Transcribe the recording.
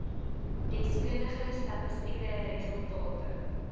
deskundige statistiese resultate